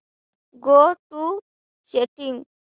go to settings